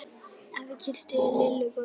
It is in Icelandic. Afi kyssti Lillu góða nótt.